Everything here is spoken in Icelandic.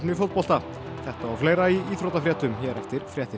fótbolta þetta og fleira í íþróttafréttum hér eftir fréttir